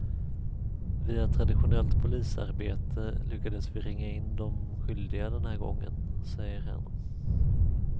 Via traditionellt polisarbete lyckades vi ringa in de skyldiga den här gången, säger han.